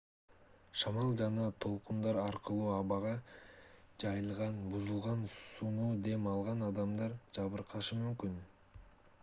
шамал жана толкундар аркылуу абага жайылган бузулган сууну дем алган адамдар жабыркашы мүмкүн